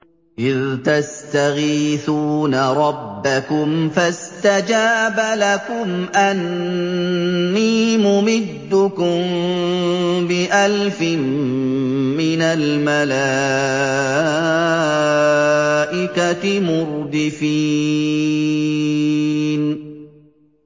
إِذْ تَسْتَغِيثُونَ رَبَّكُمْ فَاسْتَجَابَ لَكُمْ أَنِّي مُمِدُّكُم بِأَلْفٍ مِّنَ الْمَلَائِكَةِ مُرْدِفِينَ